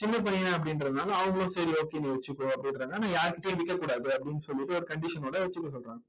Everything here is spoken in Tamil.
சின்னப் பையன் அப்படின்றதுனால அவங்களும் சரி okay நீ வச்சுக்கோ அப்படின்றாங்க. ஆனா யார்கிட்டயும் விற்கக் கூடாது அப்படின்னு சொல்லிட்டு ஒரு condition ஓட வச்சுக்க சொல்றாங்க.